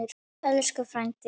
Elsku frændi.